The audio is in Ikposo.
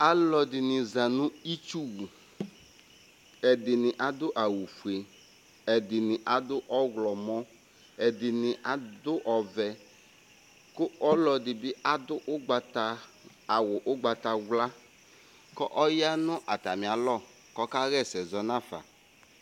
aloɛdini za no itsu wu ɛdini ado awu fue ɛdini ado ɔwlɔmɔ ɛdini ado ɔvɛ kò ɔloɛdi bi ado ugbata awu ugbatawla kò ɔya no atami alɔ k'ɔka ɣa ɛsɛ zɔ n'afa